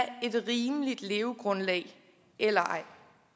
et rimeligt levegrundlag eller ej